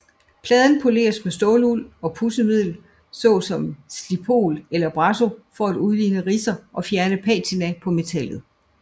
Pladen poleres med ståluld og pudsemiddel så som Slipol eller Brasso for at udligne ridser og fjerne patina på metallet